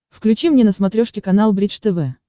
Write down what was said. включи мне на смотрешке канал бридж тв